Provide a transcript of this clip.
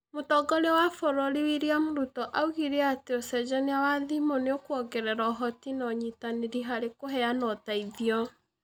Mũtongoria wa bũrũri William Ruto oigire atĩ ũcenjania wa thimũ nĩ ũkũongerera ũhoti na ũnyitanĩri harĩ kũheana ũteithio.